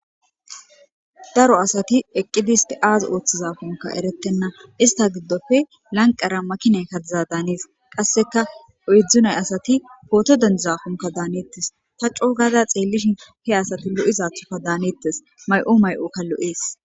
daro asati eqqidis isti azi ooththizafunka erettenna ista giddofe lanqara makiney ka biza daanes qasseka e7dzdzunay asati pooto denzaafunka daaneettes ta coo gada xeellishin he asati lo7izathoka daaneettes may7o may7okka lo7ees